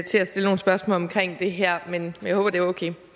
stille nogle spørgsmål omkring det her men jeg håber